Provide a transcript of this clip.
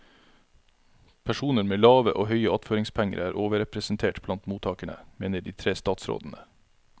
Personer med lave og høye attføringspenger er overrepresentert blant mottagerne, mener de tre statsrådene.